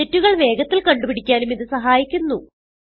തെറ്റുകൾ വേഗത്തിൽ കണ്ടുപിടിക്കാനും ഇത് സഹായിക്കുന്നു